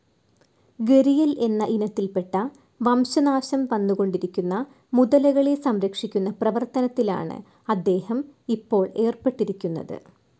ഗരിയൽ എന്ന ഇനത്തിൽപ്പെട്ട, വംശനാശം വന്നു കൊണ്ടിരിക്കുന്ന മുതലകളെ സംരക്ഷിക്കുന്ന പ്രവർത്തനത്തിലാണ് അദ്ദേഹം ഇപ്പോൾ ഏർപ്പെട്ടിരിക്കുന്നത്.